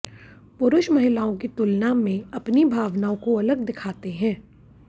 पुरुष महिलाओं की तुलना में अपनी भावनाओं को अलग दिखाते हैं